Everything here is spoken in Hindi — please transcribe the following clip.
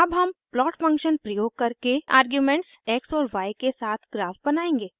अब हम प्लॉट फंक्शन प्रयोग करके आर्ग्यूमेंट्स x और y के साथ ग्राफ बनाएंगे